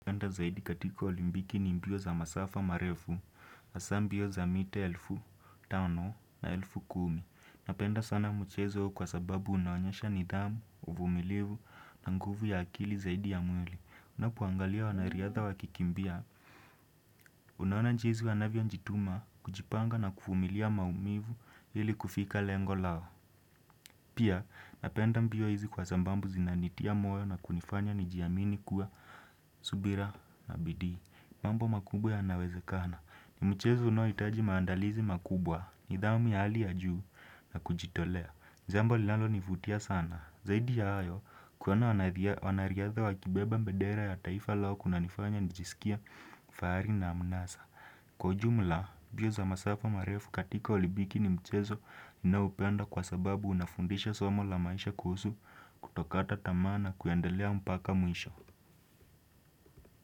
Na penda zaidi katika olimbiki ni mbio za masafa marefu, asambio za mite elfu, tano na elfu kumi. Napenda sana mchezo kwa sababu unawanyesha nidamu, uvumilivu na nguvu ya akili zaidi ya mweli. Unapuangalia wanariyatha wakikimbia. Unaona njizi wanavyo njituma kujipanga na kufumilia maumivu hili kufika lengo lao. Pia, na penda mbio hizi kwa zambambu zinanitia moyo na kunifanya njiyamini kuwa subira na bidii. Mambo makubwa ya nawezekana ni mchezo no itaji maandalizi makubwa ni dhami ya hali ya juu na kujitolea. Zambo lalo nivutia sana zaidi ya ayo kuwana wanariadha wa kibeba mbedera ya taifa lao kuna nifanya nijisikia faari na amunasa. Kwa jumla biyo za masafo marefu katika olibiki ni mchezo inaupenda kwa sababu unafundisha somo la maisha kuhusu kutokata tamana kuyandelea mpaka mwisho.